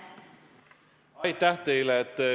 Aitäh teile!